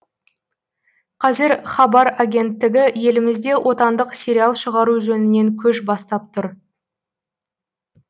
қазір хабар агенттігі елімізде отандық сериал шығару жөнінен көш бастап тұр